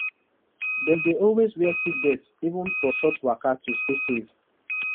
dem dey always wear seatbelt even for short waka to stay safe